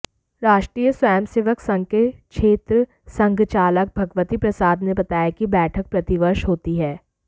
राष्ट्रीय स्व्यंसेवक संघ के क्षेत्र संघचालक भगवती प्रसाद ने बताया कि बैठक प्रतिवर्ष होती है